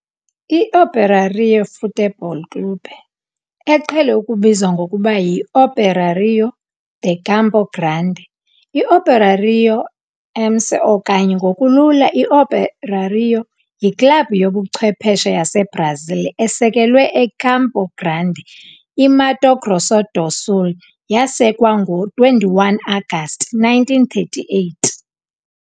I-Operário Futebol Clube, eqhele ukubizwa ngokuba yiOperário de Campo Grande, i-Operário-MS okanye ngokulula i-Operário yiklabhu yobuchwephesha yaseBrazil esekelwe eCampo Grande, i-Mato Grosso do Sul yasekwa ngo-21 Agasti 1938.